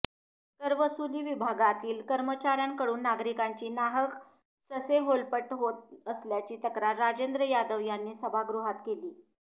करवसुली विभागातील कर्मचाऱ्यांकडून नागरिकांची नाहक ससेहोलपट होत असल्याची तक्रार राजेंद्र यादव यांनी सभागृहात केली